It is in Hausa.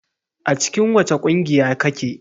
A cikin wace ƙungiya kake?